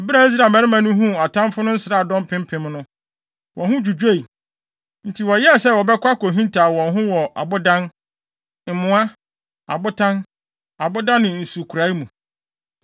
Bere a Israel mmarima no huu atamfo no nsraadɔm mpempem no, wɔn ho dwudwoe; nti wɔyɛɛ sɛ wɔbɛkɔ akohintaw wɔn ho wɔ abodan, mmoa, abotan, aboda ne nsukorae mu.